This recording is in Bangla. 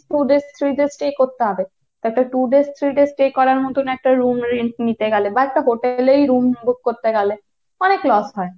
two days, three days stay করতে হবে তো একটা two days three days stay করার মত একটা room rent নিতে গেলে বা একটা hotel এই room book করতে গেলে অনেক loss হয়।